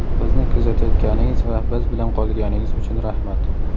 Bizni kuzatayotganingiz va biz bilan qolganingiz uchun rahmat .